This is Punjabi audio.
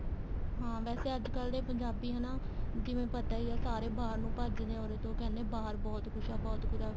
ਹਾਂ ਵੈਸੇ ਅੱਜਕਲ ਦੇ ਪੰਜਾਬੀ ਹਨਾ ਜਿਵੇਂ ਪਤਾ ਈ ਏ ਸਾਰੇ ਬਾਹਰ ਨੂੰ ਭੱਜ ਰਹੇ ਏ ਉਰੇ ਤੋਂ ਕਹਿਨੇ ਬਾਹਰ ਬਹੁਤ ਕੁੱਝ ਏ ਬਹੁਤ ਕੁੱਝ ਏ